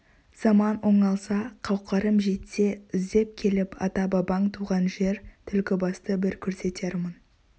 заман оңалса қауқарым жетсе іздеп келіп ата-бабаң туған жер түлкібасты бір көрсетермін